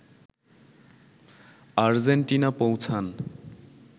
Argentina পৌঁছান